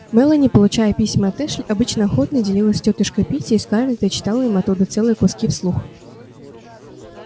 мелани получая письма от эшли обычно охотно делилась с тётушкой питти и скарлетт и читала им оттуда целые куски вслух